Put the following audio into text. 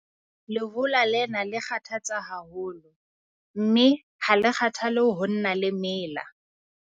Lehola lena le kgathatsa haholo, mme ha le kgathale ho nna le mela.